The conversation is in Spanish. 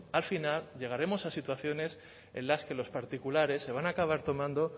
al final llegaremos a situaciones en las que los particulares se van a acabar tomando